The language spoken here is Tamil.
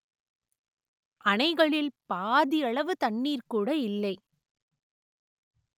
அணைகளில் பாதியளவு தண்ணீர் கூட இல்லை